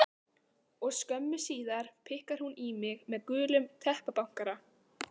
Og skömmu síðar pikkar hún í mig með gulum teppabankara.